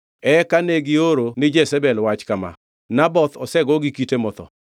Eka negioro ni Jezebel wach kama, “Naboth osego gi kite motho.”